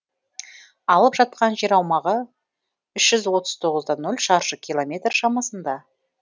алып жатқан жер аумағы үш жүз отыз тоғыз да ноль шаршы километр шамасында